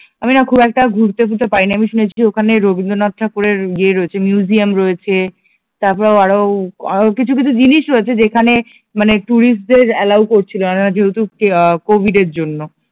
আমি না খুব একটা ঘুরতে টুরতে পারিনি আমি শুনেছি যে ওখানে রবীন্দ্রনাথ ঠাকুর এর ইয়ে রয়েছে মিউজিয়াম রয়েছে তারপর আরো কিছু কিছু জিনিস রয়েছে যেখানে মানে যেখানে টুরিস্ট দের এলাও করছিল না যেহেতু কভিদের এর জন্য